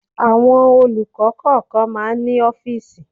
Àwọn olùkọ́ kọ̀ọ̀kan máa ń ní ọ́fíísì.